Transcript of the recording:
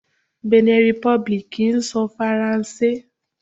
Benin Republic ń sọ Faransé.